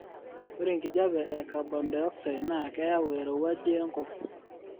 ore enkijape ee cabondioxide naa keyau erowuji enkop